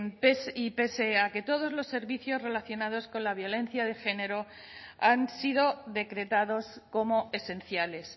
pey pese a que todos los servicios relacionados con la violencia de género han sido decretados como esenciales